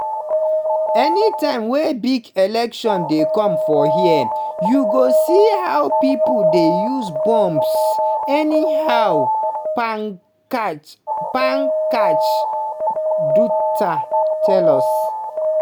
"anytime wey big election dey come for hia you go see how pipo dey use bombs anyhow"pankaj pankaj dutta tell us.